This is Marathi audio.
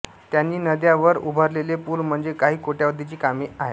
त्यांनी नद्या वर उभारलेले पूल म्हणजे काही कोट्यवधीची कामे आहेत